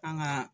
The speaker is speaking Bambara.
An ka